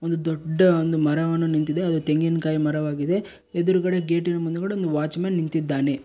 ಒಂದು ದೊಡ್ಡ ಒಂದು ಮರವನ್ನು ನಿಂತಿದೆ ಅದು ತೆಂಗಿನ್ ಕಾಯಿ ಮರವಾಗಿದೆ ಎದ್ರುಗಡೆ ಗೇಟಿನ ಮುಂದುಗಡೆ ಒಂದು ವಾಚ್ ಮ್ಯಾನ್ ನಿಂತಿದ್ದಾನೆ.